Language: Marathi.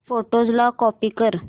फोटोझ ला कॉपी कर